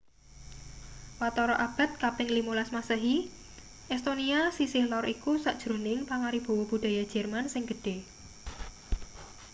watara abad kaping 15 masehi estonia sisih lor iku sajroning pangaribawa budaya jerman sing gedhe